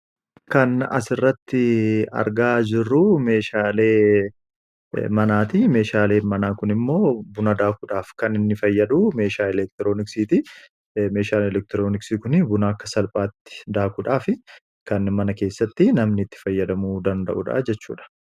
Kan as irratti argaa jirruu meeshaalee manaati. Meeshaalee manaa kun immoo buna daakuudhaaf kan inni fayyadu meeshaa elektirooniksiiti meeshaal elektirooniksii kun buna akka salphaatti daakuudhaaf kan mana keessatti namnitti fayyadamuu danda'udha jechuudha.